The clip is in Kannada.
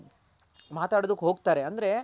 ಮಾತಡೋದಕ್ ಹೋಗ್ತಾರೆ ಅಂದ್ರೆ